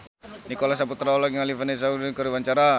Nicholas Saputra olohok ningali Vanessa Hudgens keur diwawancara